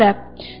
Ya Rəbb!